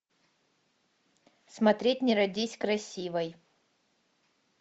смотреть не родись красивой